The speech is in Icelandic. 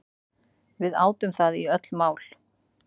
Við átum það í öll mál.